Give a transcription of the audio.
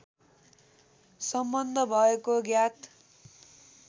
सम्बन्ध भएको ज्ञात